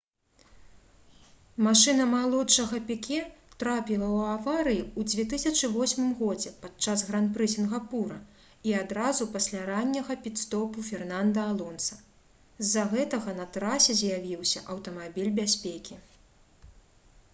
машына малодшага піке трапіла ў аварыю ў 2008 г падчас гран-пры сінгапура і адразу пасля ранняга піт-стопу фернанда алонса з-за гэтага на трасе з'явіўся аўтамабіль бяспекі